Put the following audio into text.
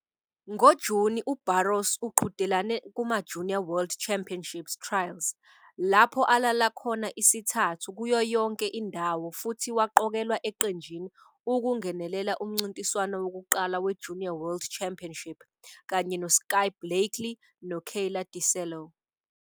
NgoJuni uBarros uqhudelane kumaJunior World Championships Trials lapho alala khona isithathu kuyo yonke indawo futhi waqokelwa eqenjini ukungenela umncintiswano wokuqala weJunior World Championship kanye noSkye Blakely noKayla DiCello.